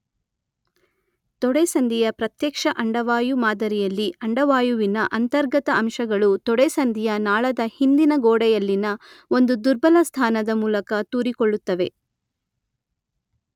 ತೊಡೆಸಂದಿಯ ಪ್ರತ್ಯಕ್ಷ ಅಂಡವಾಯು ಮಾದರಿಯಲ್ಲಿ ಅಂಡವಾಯುವಿನ ಅಂತರ್ಗತ ಅಂಶಗಳು ತೊಡೆಸಂದಿಯ ನಾಳದ ಹಿಂದಿನ ಗೋಡೆಯಲ್ಲಿನ ಒಂದು ದುರ್ಬಲ ಸ್ಥಾನದ ಮೂಲಕ ತೂರಿಕೊಳ್ಳುತ್ತವೆ.